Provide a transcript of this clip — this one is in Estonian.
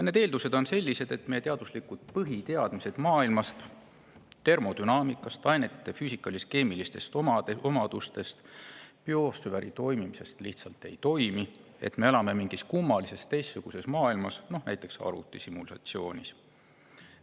Need eeldused on sellised, et meie teaduslikud põhiteadmised maailmast, termodünaamikast, ainete füüsikalis-keemilistest omadustest, biosfäärist lihtsalt ei toimi, et me elame mingis kummalises teistsuguses maailmas, näiteks arvutisimulatsioonis.